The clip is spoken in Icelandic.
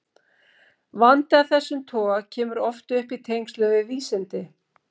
Vandi af þessum toga kemur oft upp í tengslum við vísindi.